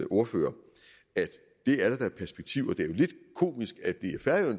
ordfører at det er der da perspektiv i det er lidt komisk at